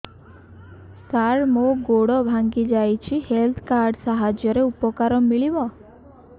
ସାର ମୋର ଗୋଡ଼ ଭାଙ୍ଗି ଯାଇଛି ହେଲ୍ଥ କାର୍ଡ ସାହାଯ୍ୟରେ ଉପକାର ମିଳିବ